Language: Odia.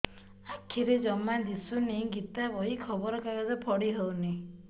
ଆଖିରେ ଜମା ଦୁଶୁନି ଗୀତା ବହି ଖବର କାଗଜ ପଢି ହଉନି